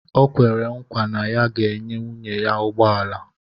O kwere nkwa na ya ga-enye nwunye ya ụgbọ ala